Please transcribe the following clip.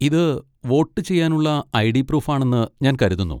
ഇത് വോട്ട് ചെയ്യാനുള്ള ID. Proof ആണെന്ന് ഞാൻ കരുതുന്നു.